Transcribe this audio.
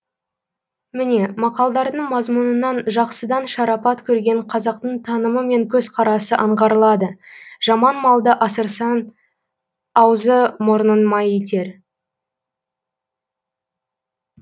міне мақалдардың мазмұнынан жақсыдан шарапат көрген қазақтың танымы мен көзқарасы аңғарылады жаман малды асырсаң аузы мұрның май етер